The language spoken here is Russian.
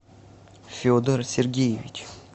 федор сергеевич